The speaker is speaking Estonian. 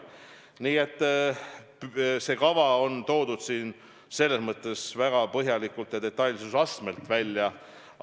Nii et see kava on toodud siin selles mõttes väga põhjaliku detailsuse astmega välja.